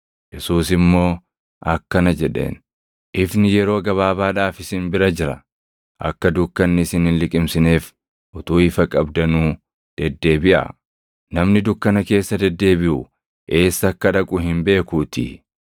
Yesuus immoo akkana jedheen; “Ifni yeroo gabaabaadhaaf isin bira jira. Akka dukkanni isin hin liqimsineef utuu ifa qabdanuu deddeebiʼaa. Namni dukkana keessa deddeebiʼu eessa akka dhaqu hin beekuutii.